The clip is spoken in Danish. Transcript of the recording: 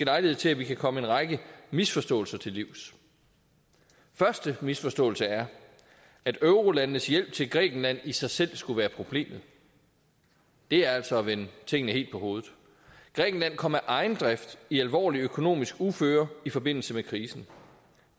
lejlighed til at vi kan komme en række misforståelser til livs første misforståelse er at eurolandenes hjælp til grækenland i sig selv skulle være problemet det er altså at vende tingene helt på hovedet grækenland kom af egen drift i alvorligt økonomisk uføre i forbindelse med krisen